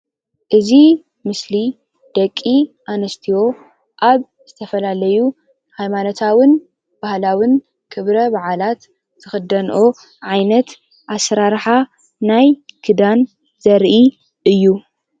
እዚ ምስሊ ደቂ ኣንስትዮ ኣብ ዝተፋላለዩ ሃይማኖታውን ባህላውን ክብረ በዓላት ዝክደንኦ ዓይነት ኣሰራርሓ ናይ ክዳን ዘርኢ እዩ፡፡